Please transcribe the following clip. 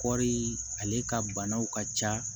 Kɔɔri ale ka banaw ka ca